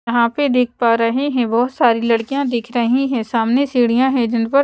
यहां पे देख पा रहे हैं बहोत सारी लड़कियां दिख रही है सामने सीढ़ियां हैं जिन पर--